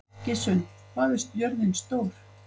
Gissunn, hvað er jörðin stór?